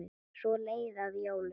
Svo leið að jólum.